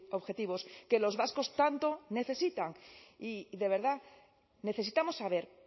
objetivos que los vascos tanto necesitan y de verdad necesitamos saber